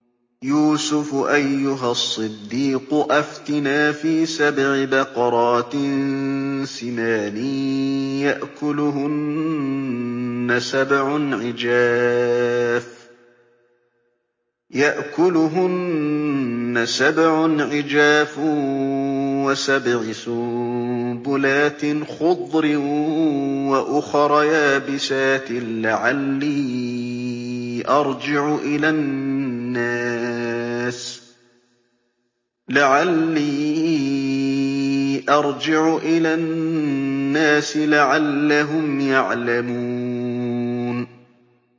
يُوسُفُ أَيُّهَا الصِّدِّيقُ أَفْتِنَا فِي سَبْعِ بَقَرَاتٍ سِمَانٍ يَأْكُلُهُنَّ سَبْعٌ عِجَافٌ وَسَبْعِ سُنبُلَاتٍ خُضْرٍ وَأُخَرَ يَابِسَاتٍ لَّعَلِّي أَرْجِعُ إِلَى النَّاسِ لَعَلَّهُمْ يَعْلَمُونَ